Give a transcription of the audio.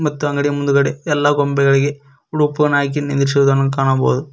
ಸುತ್ತ ಅಂಗಡಿ ಮುಂದ್ಗಡೆ ಎಲ್ಲಾ ಗೊಂಬೆಗಳಿಗೆ ಉಡುಪುವನ್ನು ಹಾಕಿ ನಿಂದ್ರಸಿದನ್ನು ಕಾಣಬಹುದು.